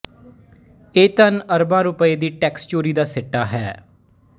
ਇਹ ਧਨ ਅਰਬਾਂ ਰੁਪਏ ਦੀ ਟੈਕਸ ਚੋਰੀ ਦਾ ਸਿੱਟਾ ਹੈ